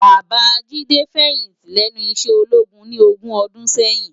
Baba Jide fèyinti lènú iṣè ólógún ni ógùn òdùn sèyin